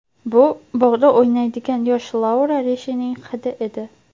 Bu bog‘da o‘ynaydigan yosh Laura Rishining hidi edi.